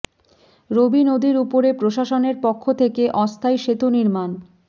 রবি নদীর উপরে প্রশাসনের পক্ষ থেকে অস্থায়ী সেতু নির্মাণ